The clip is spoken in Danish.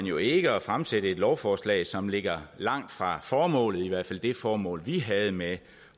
jo ikke at fremsætte et lovforslag som ligger langt fra formålet i hvert fald det formål vi havde med